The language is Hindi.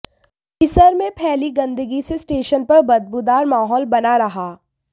परिसर में फैली गंदगी से स्टेशन पर बदबूदार माहौल बना रहा